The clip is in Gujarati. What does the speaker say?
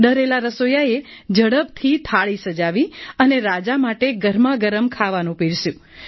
ડરેલા રસોઈયાએ ઝડપથી થાળી સજાવી અને રાજા માટે ગરમાગરમ ખાવાનું પીરસ્યું